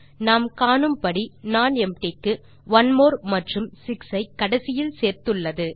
நாம் காணும்படி நானெம்ப்டி க்கு ஒனிமோர் மற்றும் 6 ஐ கடைசியில் சேர்த்துள்ளது